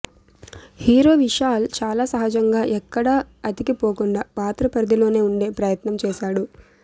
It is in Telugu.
హీరో విశాల్ చాలా సహజంగా ఎక్కడా అతికి పోకుండా పాత్ర పరిధిలోనే ఉండే ప్రయత్నం చేశాడు